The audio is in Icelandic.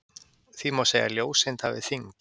Því má segja að ljóseind hafi þyngd.